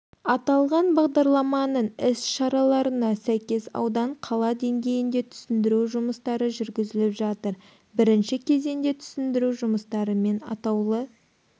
аталған бағдарламаның іс-шараларына сәйкес аудан қала деңгейінде түсіндіру жұмыстары жүргізіліп жатыр бірінші кезеңде түсіндіру жұмыстарымен атаулы